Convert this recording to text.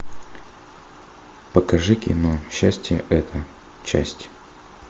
покажи кино счастье это часть